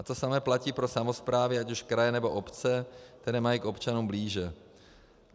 A to samé platí pro samosprávy, ať už kraje, nebo obce, které mají k občanům blíže.